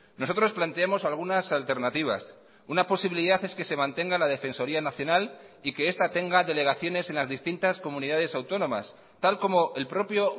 nosotros planteamos algunas alternativas una posibilidad es que se mantenga la defensoría nacional y que esta tenga delegaciones en las distintas comunidades autónomas tal como el propio